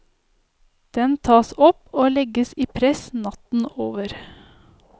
Den tas opp og legges i press natten over.